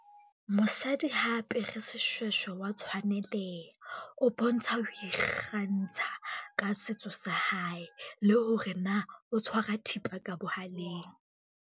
Mosadi ha apere seshweshwe wa tshwaneleha, o bontsha ho ikgantsha ka setso sa hae le hore na o tshwara thipa ka bohaleng.